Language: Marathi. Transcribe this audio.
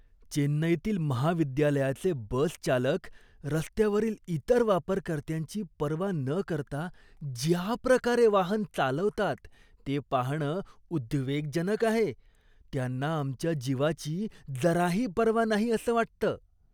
चेन्नईतील महाविद्यालयाचे बसचालक रस्त्यावरील इतर वापरकर्त्यांची पर्वा न करता ज्याप्रकारे वाहन चालवतात ते पाहणं उद्वेगजनक आहे. त्यांना आमच्या जीवाची जराही पर्वा नाही असं वाटतं.